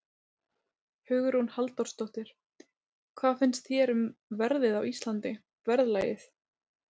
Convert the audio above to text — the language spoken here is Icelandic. Hugrún Halldórsdóttir: Hvað finnst þér um verðið á Íslandi, verðlagið?